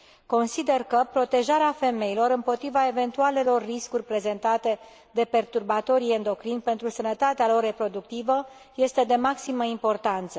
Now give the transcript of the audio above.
Consider că protejarea femeilor împotriva eventualelor riscuri prezentate de perturbatorii endocrini pentru sănătatea lor reproductivă este de maximă importanță.